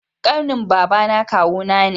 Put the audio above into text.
Kanin babana kawu na ne